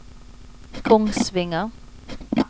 Kongsvinger